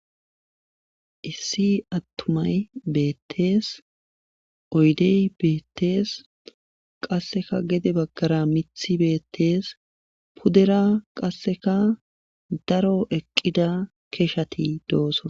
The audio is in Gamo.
Issi atumay beetes oydey beetes qassekka gede bagara mithi beetees.pudera qasekkadaro eqqida keshati doosona.